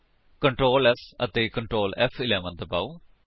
Ctrl S ਅਤੇ Ctrl ਫ਼11 ਦਬਾਓ